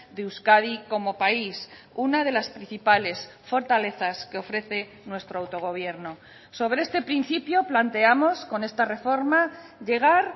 de euskadi como país una de las principales fortalezas que ofrece nuestro autogobierno sobre este principio planteamos con esta reforma llegar